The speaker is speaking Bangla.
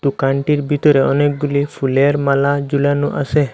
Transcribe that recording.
দোকানটির বিতরে অনেকগুলি ফুলের মালা জুলানো আসে ।